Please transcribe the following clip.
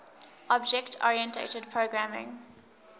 object oriented programming